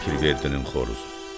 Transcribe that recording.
Pirverdinin xoruzu.